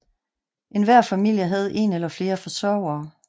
Enhver familie havde en eller flere forsørgere